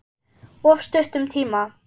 Of stuttum tíma.